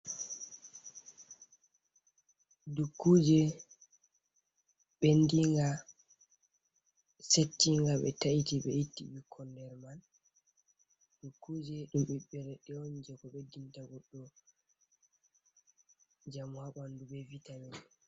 Dukkuje ɓendinga, setinga, ɓe taiti, be itti ɓikkon derman. Dukkuje ɗum ɓiɓɓe leɗɗe on jei ko ɓeddinta goɗɗo njamu haa ɓandu, be Vitamin.